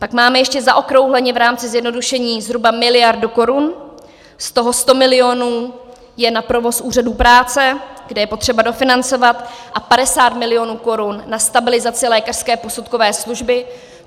Pak máme ještě zaokrouhleně v rámci zjednodušení zhruba miliardu korun, z toho 100 milionů je na provoz úřadů práce, kde je potřeba dofinancovat, a 50 milionů korun na stabilizaci lékařské posudkové služby.